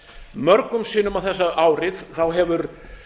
mörgum sinnum á þessu ári hefur